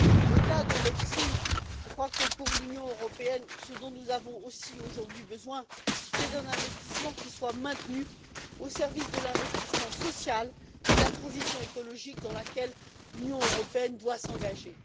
Au delà de l'EFSI, je crois que pour l'Union européenne, ce dont nous avons aussi besoin aujourd'hui, c'est d'un investissement qui soit maintenu au service de l'investissement social et de la transition écologique dans laquelle l'Union européenne doit s'engager.